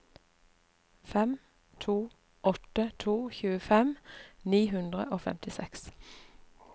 fem to åtte to tjuefem ni hundre og femtiseks